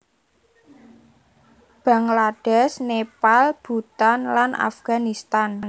Banglades Nepal Bhutan lan Afganistan